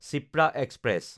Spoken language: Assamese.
শিপ্ৰা এক্সপ্ৰেছ